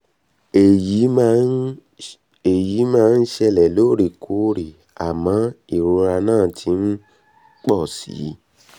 èyí máa um ń ṣẹ̀lẹ̀ lóòrèkóòrè àmọ́ ìrora náà ti um ń pọ̀ si um